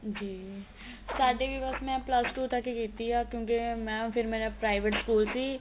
ਜੀ ਸਾਡੇ ਵੀ ਬੱਸ ਮੈਂ plus two ਤੱਕ ਹੀ ਕੀਤੀ ਏ ਕਿਉ ਕਿ ਮੈਂ ਫ਼ਿਰ ਮੇਰਾ private school ਸੀ